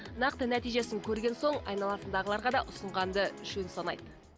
нақты нәтижесін көрген соң айналасындағыларға да ұсынғанды жөн санайды